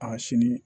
A sini